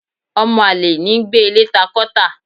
ọmọ alẹ̀ ní gbé ilé ta kọ tá